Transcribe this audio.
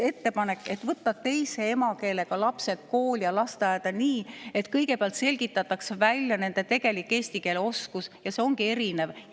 Ettepanek oli, et võtta teise emakeelega lapsed kooli ja lasteaeda nii, et kõigepealt selgitataks välja nende tegelik eesti keele oskus, sest see ongi erinev.